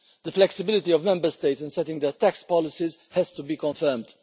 The flexibility of Member States in setting their tax policies has to be confirmed.